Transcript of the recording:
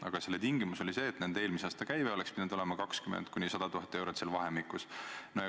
Aga selle tingimus oli see, et nende eelmise aasta käive oleks pidanud olema vahemikus 20 000 – 100 000 eurot.